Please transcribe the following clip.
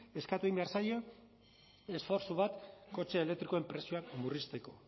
eskatu egin behar zaie esfortzu bat kotxe elektrikoen prezioak murrizteko